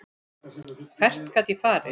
Hvert gat ég farið?